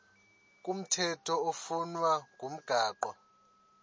komthetho oflunwa ngumgago